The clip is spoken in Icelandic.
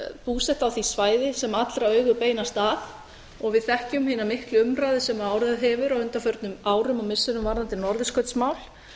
búsett á því svæði sem allra augu beinast að og við þekkjum hina miklu umræðu sem orðið hefur á undanförnum árum og missirum varðandi norðurskautsmál